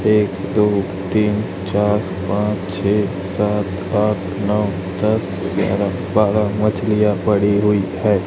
एक दो तीन चार पांच छे सात आठ नो दस ग्यारह बारह मछलियां पड़ी हुई है।